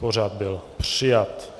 Pořad byl přijat.